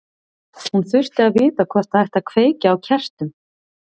Hún þurfti að vita hvort það ætti að kveikja á kertum.